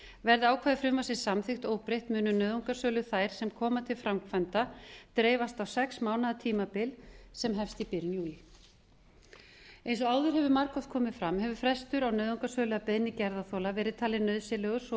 verði ákvæði frumvarpsins samþykkt óbreytt munu nauðungarsölur þær sem koma til framkvæmda dreifast á sex mánaða tímabil sem hefst í byrjun júlí eins og áður hefur margoft komið fram hefur frestur á nauðungarsölu að beiðni gerðarþola verið talinn nauðsynlegur þó